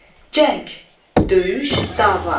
Cəng, döyüş, dava.